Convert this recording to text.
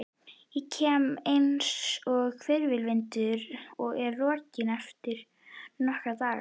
Ég kem einsog hvirfilvindur og er rokinn eftir nokkra daga.